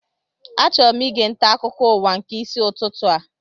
Achọrọ ige nta akụkọ ụwa nke isi ụtụtụ a